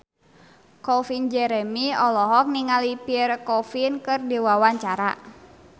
Calvin Jeremy olohok ningali Pierre Coffin keur diwawancara